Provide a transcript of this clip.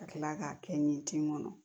Ka kila k'a kɛ nin tin kɔnɔ